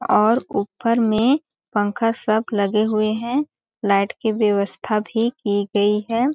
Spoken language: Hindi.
और ऊपर में पंखा सब लगे हुए हैं लाईट की व्यवस्था भी की गयी हैं ।